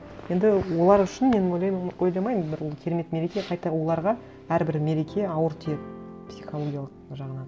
енді олар үшін мен ойлаймын ойламаймын бір м керемет мереке қайта оларға әрбір мереке ауыр тиеді психологиялық жағынан